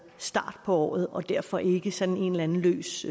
starten af året og derfor ikke sådan en eller en løs